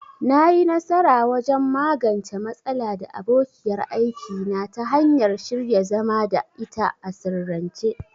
Na yi nasara wajen magance matsala da abokiyar aiki na ta hanyar shirya zama da ita a sirrance.